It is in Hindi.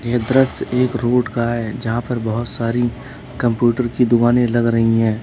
यह दृश्य एक रोड का है जहां पर बहोत सारी कंप्यूटर की दुकानें लग रही हैं।